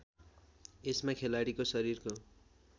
यसमा खेलाडीको शरीरको